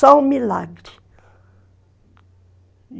Só um milagre.